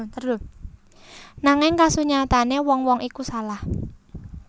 Nanging kasunyatane wong wong iku salah